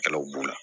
Kɛlɛw b'u la